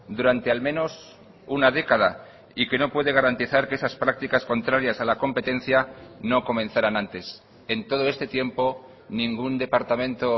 durante al menos una década y que no puede garantizar que esas prácticas contrarias a la competencia no comenzaran antes en todo este tiempo ningún departamento